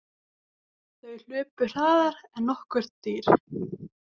Þau hlupu hraðar en nokkurt dýr.